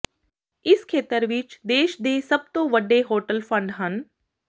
ਇਸ ਖੇਤਰ ਵਿਚ ਦੇਸ਼ ਦੇ ਸਭ ਤੋਂ ਵੱਡੇ ਹੋਟਲ ਫੰਡ ਹਨ